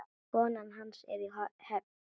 Konan hans er í Höfn.